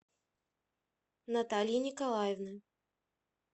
натальи николаевны